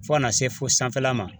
Fo ka na se fo sanfɛla ma.